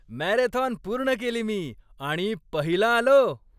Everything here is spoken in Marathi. मॅरेथॉन पूर्ण केली मी आणि पहिला आलो.